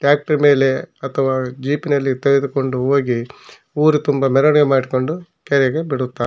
Tractor ಮೇಲೆ ಅಥವಾ jeep ನಲ್ಲಿ ಮೇಲೆ ತೆಗೆದುಕೊಂಡು ಹೋಗಿ ಊರು ತುಂಬ ಮೆರವಣಿಗೆ ಮಾಡ್ಕೊಂಡು ಕೆರೆಗೆ ಬಿಡುತ್ತಾರೆ.